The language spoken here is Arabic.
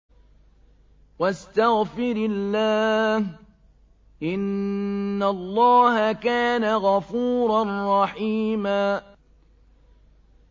وَاسْتَغْفِرِ اللَّهَ ۖ إِنَّ اللَّهَ كَانَ غَفُورًا رَّحِيمًا